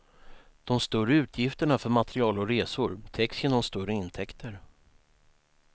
De större utgifterna för material och resor täcks genom större intäkter.